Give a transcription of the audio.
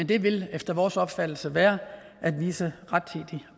det vil efter vores opfattelse være at vise rettidig